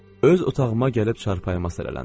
Öz otağıma gəlib çarpayıma sərələndim.